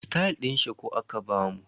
Stayal din shuku aka bamu.